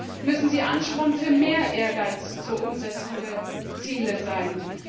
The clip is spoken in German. Vielmehr müssen sie Ansporn für mehr Ehrgeiz zur Umsetzung der Ziele sein.